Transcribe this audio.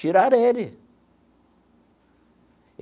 Tirar ele.